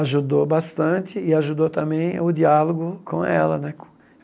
ajudou bastante e ajudou também a o diálogo com ela, né?